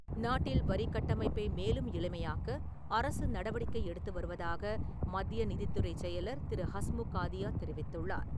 நாட்டில் வரிகட்டமைப்பை மேலும் எளிமையாக்க, அரசு நடவடிக்கை எடுத்து வருவதாக மத்திய நிதித்துறைச் செயலர் திரு ஹஸ்முக் ஆதியா தெரிவித்துள்ளார்.